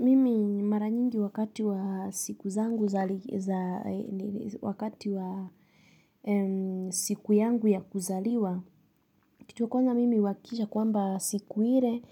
Mimi mara nyingi wakati wa siku za wakati wa siku yangu ya kuzaliwa. Kitu ya kwanza mimi uhakisha kwamba siku ile